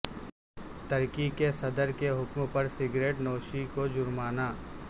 ترکی کےصدر کے حکم پر سگریٹ نوش کو جرمانہ